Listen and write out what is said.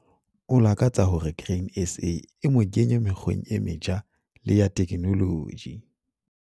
O lakatsa hore Grain SA e mo kenye mekgweng e metjha le ya teknoloji.